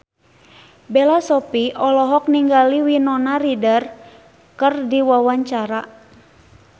Bella Shofie olohok ningali Winona Ryder keur diwawancara